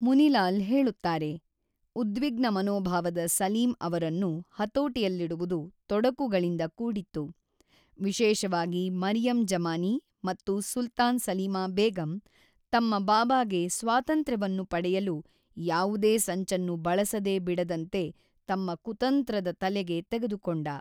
ಮುನಿ ಲಾಲ್ ಹೇಳುತ್ತಾರೆ, ಉದ್ವಿಗ್ನ ಮನೋಭಾವದ ಸಲೀಂ ಅವರನ್ನು ಹತೋಟಿಯಲ್ಲಿಡುವುದು ತೊಡಕುಗಳಿಂದ ಕೂಡಿತ್ತು, ವಿಶೇಷವಾಗಿ ಮರಿಯಮ್ ಜಮಾನಿ ಮತ್ತು ಸುಲ್ತಾನ್ ಸಲೀಮಾ ಬೇಗಂ ತಮ್ಮ ಬಾಬಾಗೆ ಸ್ವಾತಂತ್ರ್ಯವನ್ನು ಪಡೆಯಲು ಯಾವುದೇ ಸಂಚನ್ನು ಬಳಸದೆ ಬಿಡದಂತೆ ತಮ್ಮ ಕುತಂತ್ರದ ತಲೆಗೆ ತೆಗೆದುಕೊಂಡ.